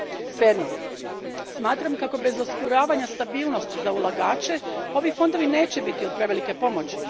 Svejedno, smatram kako bez osiguravanja stabilnosti za ulagače ovi fondovi neće biti od prevelike pomoći.